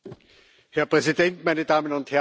Herr Präsident, meine Damen und Herren!